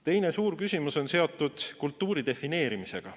Teine suur küsimus on seotud kultuuri defineerimisega.